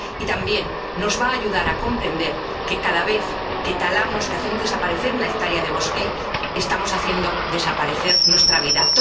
Y también nos va a ayudar a comprender que cada vez que talamos, que hacemos desaparecer una hectárea de bosque, estamos haciendo desaparecer nuestra vida.